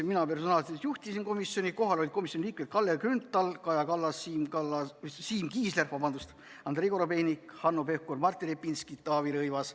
Mina personaalselt juhtisin istungit, kohal olid komisjoni liikmed Kalle Grünthal, Kaja Kallas, Siim Kiisler, Andrei Korobeinik, Hanno Pevkur, Martin Repinski ja Taavi Rõivas.